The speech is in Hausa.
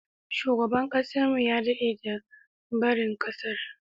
Shugaban kasar mu ya dade da barin kasar.